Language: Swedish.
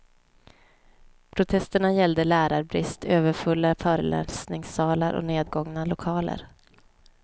Protesterna gäller lärarbrist, överfulla föreläsningssalar och nedgångna lokaler.